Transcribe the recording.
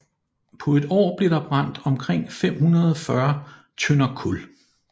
På et år blev der brændt omkring 540 tønder kul